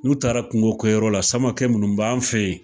N'u taara kungo kɛ yɔrɔ la Samakɛ minnu b'an fɛ yen